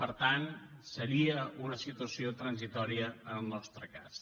per tant seria una situació transitòria en el nostre cas